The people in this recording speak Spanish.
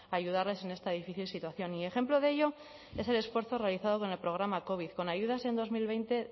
ayudarles en esta difícil situación y ejemplo de ello es el esfuerzo realizado con el programa covid con ayudas en dos mil veinte